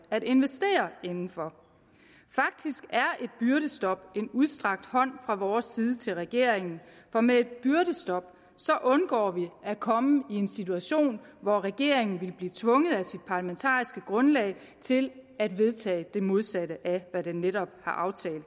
at investere inden for faktisk er et byrdestop en udstrakt hånd fra vores side til regeringen for med et byrdestop undgår man at komme i en situation hvor regeringen ville blive tvunget af sit parlamentariske grundlag til at vedtage det modsatte af hvad den netop har aftalt